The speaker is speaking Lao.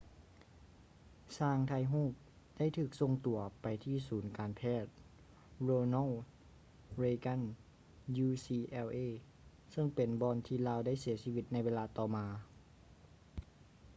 ຊ່າງຖ່າຍຮູບໄດ້ຖືກສົ່ງຕົວໄປທີ່ສູນການແພດ ronald reagan ucla ເຊິ່ງເປັນບ່ອນທີ່ລາວໄດ້ເສຍຊີວິດໃນເວລາຕໍ່ມາ